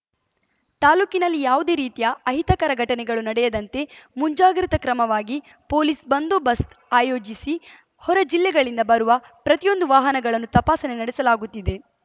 ತಾಲೂಕಿನಲ್ಲಿ ಯಾವುದೇ ರೀತಿಯ ಅಹಿತಕರ ಘಟನೆಗಳು ನಡೆಯದಂತೆ ಮುಂಜಾಗ್ರತಾ ಕ್ರಮವಾಗಿ ಪೊಲೀಸ್‌ ಬಂದೋಬಸ್ತ್ ಆಯೋಜಿಸಿ ಹೊರಜಿಲ್ಲೆಗಳಿಂದ ಬರುವ ಪ್ರತಿಯೊಂದು ವಾಹನಗಳನ್ನು ತಪಾಸಣೆ ನಡೆಸಲಾಗುತ್ತಿದೆ